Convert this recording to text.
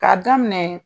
K'a daminɛ